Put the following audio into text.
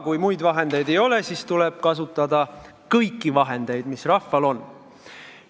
Kui muid vahendeid ei ole, siis tuleb kasutada kõiki vahendeid, mis rahval on.